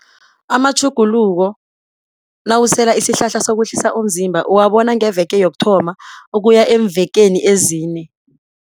Amatjhuguluko nawusela isihlahla sokwehlisa umzimba uwabona ngeveke yokuthoma ukuya eemvekeni ezine.